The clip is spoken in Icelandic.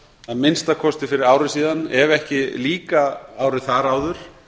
að minnsta kosti fyrir ári síðan ef ekki líka árið þar áður